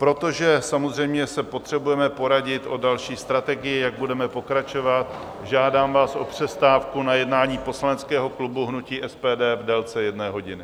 Protože samozřejmě se potřebujeme poradit o další strategii, jak budeme pokračovat, žádám vás o přestávku na jednání poslaneckého klubu hnutí SPD v délce jedné hodiny.